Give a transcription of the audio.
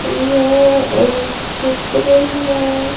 ये एक चित्र है।